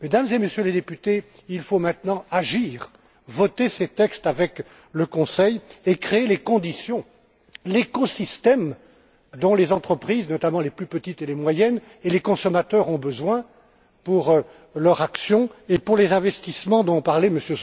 Mesdames et Messieurs les députés, il faut maintenant agir, voter ces textes avec le Conseil et créer les conditions, l'écosystème dont les entreprises notamment les plus petites et les moyennes et les consommateurs ont besoin pour leur action et pour les investissements dont parlait M.